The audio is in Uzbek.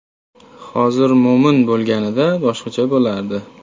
Hozir Mo‘min bo‘lganida, boshqacha bo‘lardi.